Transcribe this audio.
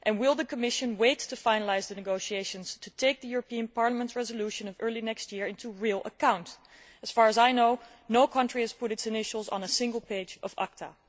Will the Commission wait to finalise the negotiations to take the Parliament's resolution of early next year into real account? As far as I know, no country has put its initials on a single page of ACTA.